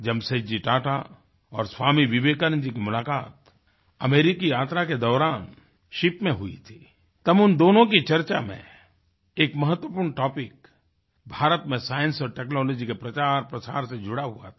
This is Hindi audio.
जमशेदजी टाटा और स्वामी विवेकानंद जी की मुलाकात अमेरिकी यात्रा के दौरान शिप में हुई थी तब उन दोनों की चर्चा में एक महत्वपूर्ण टॉपिक भारत में साइंस और टेक्नोलॉजी के प्रचारप्रसार से जुड़ा हुआ था